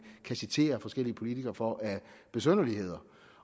kan citere forskellige politikere for af besynderligheder